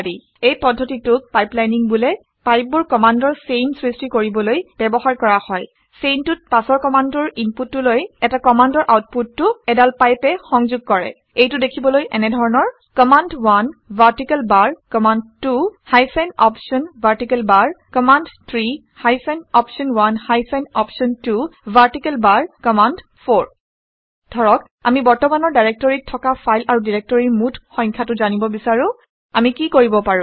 এই পদ্ধতিটোক পাইপলাইনিং বোলে। পাইপবোৰ কামাণ্ডৰ চেইন সৃষ্টি কৰিবলৈ ব্যৱহাৰ কৰা হয়। চেইনটোত পাছৰ কামাণ্ডটোৰ ইনপুটটোলৈ এটা কামাণ্ডৰ আউটপুটটো এডাল পাইপে সংঘোগ কৰে। এইটো দেখিবলৈ এনেধৰণৰ - command vertical bar command hyphen option vertical bar command hyphen option hyphen option vertical bar command ধৰক আমি বৰ্তমানৰ ডাইৰেক্টৰীত থকা ফাইল আৰু ডাইৰেক্টৰীৰ মুঠ সংখ্যাটো জানিব বিচাৰোঁ আমি কি কৰিব পাৰো